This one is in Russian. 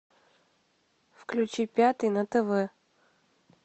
включи пятый на тв